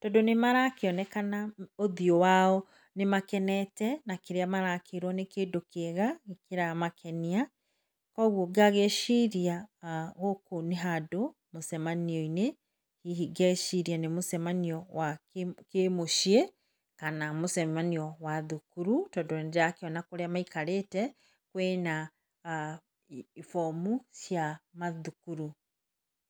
tondũ nĩ marakĩonekana ũthiũ wao nĩ makenete na kĩrĩa marakĩrwo nĩ kĩndũ kĩega kĩramakenia, koguo ngagĩciria gũkũ nĩ handũ mũcemanio-inĩ , hihi ngeciria nĩ mũcemanio wa kĩmũciĩ kana mũcemanio wa thukuru, tondũ nĩ ndĩrakĩona kũrĩa maikarĩte kwĩ na bomu cia mathukuru.